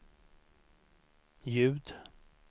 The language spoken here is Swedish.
ljud